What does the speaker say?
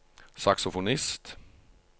saksofonist